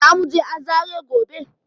Zamuje azare gobe